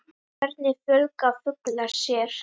Hvernig fjölga fuglar sér.